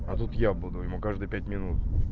а тут я буду ему каждые пять минут